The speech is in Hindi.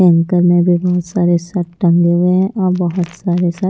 एंकर ने भी बहुत सारे शर्ट टंगे हुए हैं और बहुत सारे शर्ट --